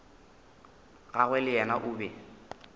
gagwe le yena o be